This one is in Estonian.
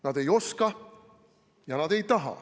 Nad ei oska ja nad ei taha.